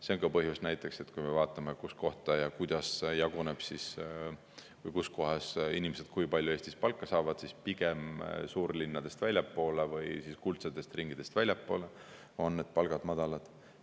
See on ka põhjus näiteks, kui me vaatame, kui palju Eesti eri kohtades inimesed palka saavad, miks pigem suurlinnadest väljaspool või siis kuldsetest ringidest väljaspool on palgad madalad.